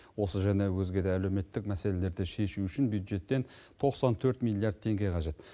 осы және өзге де әлеуметтік мәселелерді шешу үшін бюджеттен тоқсан төрт миллиард теңге қажет